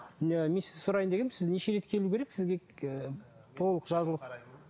сұрайын дегенмін сіз неше рет келу керек сізге ы толық жазылып